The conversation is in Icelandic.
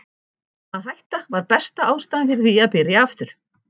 Að hætta var besta ástæðan fyrir því að byrja aftur.